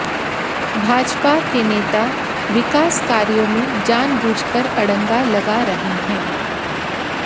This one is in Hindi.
भाजपा के नेता विकास कार्यों में जानबूझकर अडंगा लगा रहे है